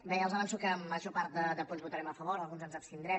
bé ja els avanço que a la major part de punts hi votarem a favor en alguns ens abstindrem